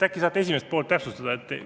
Äkki saate esimest poolt täpsustada?